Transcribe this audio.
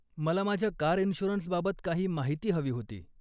मला माझ्या कार इन्श्युरन्सबाबत काही माहिती हवी होती.